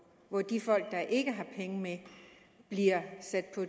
hvor de folk der ikke har penge med bliver sat ud